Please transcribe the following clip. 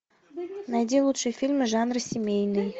найди лучшие фильмы жанра семейный